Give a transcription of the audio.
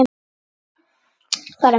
Var hann veikur?